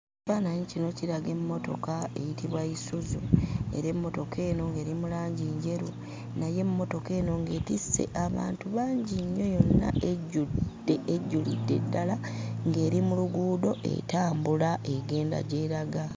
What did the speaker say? Ekifaananyi kino kiraga emmotoka eyitibwa Yisuzu. Era emmotoka eno ng'eri mu langi njeru. Naye emmotoka eno ng'etisse abantu bangi nnyo yonna ejjudde ejjulidde ddala. Ng'eri mu luguudo etambula egenda gy'eraga.